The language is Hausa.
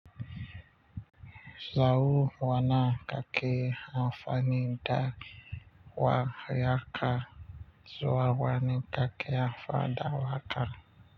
Sau nawa kake amfani da waƙa. Yaka zuwa wani kake amfani da waƙa.